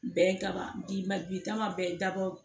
Bɛn kama bi ma bi taa ma bɛɛ dabɔ